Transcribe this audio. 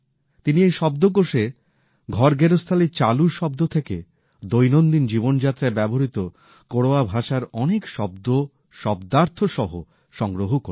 তিনি এই শব্দকোষে ঘরগেরস্থালির চালু শব্দ থেকে দৈনন্দিন জীবনযাত্রায় ব্যবহৃত কোরওয়া ভাষার অনেক শব্দ শব্দার্থসহ সংগ্রহ করেছেন